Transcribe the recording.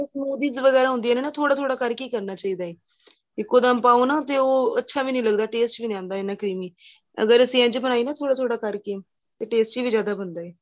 ਵਗੇਰਾ ਹੁੰਦੀਆਂ ਨੇ ਥੋੜਾ ਥੋੜਾ ਕਰਕੇ ਕਰਨਾ ਚਾਹੀਦਾ ਏ ਇੱਕੋਦਮ ਪਾਓ ਨਾ ਤੇ ਉਹ ਅੱਛਾ ਵੀ ਨਹੀਂ ਲੱਗਦਾ taste ਵੀ ਨਹੀਂ ਆਂਦਾ ਇਹਨਾ creamy ਅਗਰ ਅਸੀਂ ਇੱਝ ਬਣਾਈਏ ਥੋੜਾ ਥੋੜਾ ਕਰਕੇ ਤੇ tasty ਵੀ ਜਿਆਦਾ ਬਣਦਾ ਏ